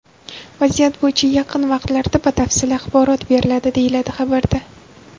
Vaziyat bo‘yicha yaqin vaqtlarda batafsil axborot beriladi, deyiladi xabarda.